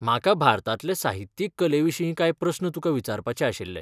म्हाका भारतातले साहित्यीक कलेविशीं कांय प्रस्न तुका विचारपाचे आशिल्ले.